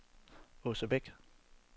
Aase Beck